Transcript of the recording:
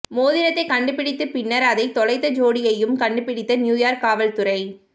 மோதிரத்தை கண்டுபிடித்து பின்னர் அதை தொலைத்த ஜோடியையும் கண்டுபிடித்த நியூயார்க் காவல்துறை